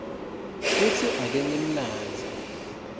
kutsi ake ngimlandzele